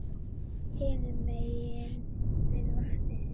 Hinum megin við vatnið.